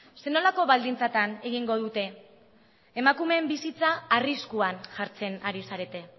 zer nolako baldintzatan egingo dute emakumeen bizitza arriskuan jartzen ari zarete